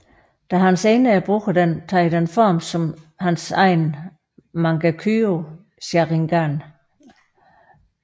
Da han senere bruger den tager den form som hans egen Mangekyo Sharingan